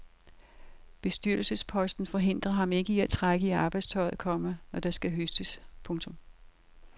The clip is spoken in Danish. Bestyrelsesposten forhindrer ham ikke i at trække i arbejdstøjet, komma når der skal høstes. punktum